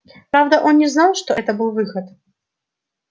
правда он не знал что это был выход